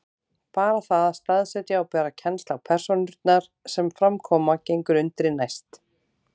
Bara það að staðsetja og bera kennsl á persónurnar sem fram koma gengur undri næst.